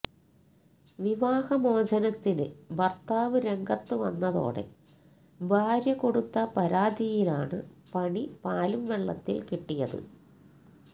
വിവാഹ മോചനത്തിന് ഭർത്താവ് രംഗത്ത് വന്നതോടെ ഭാര്യകൊടുത്ത പരാതിയിലാണ് പണി പാലും വെള്ളത്തിൽ കിട്ടിയത്